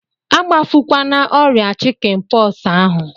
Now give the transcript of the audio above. Agbafukwana ọrịa chikin pọksi ahụ!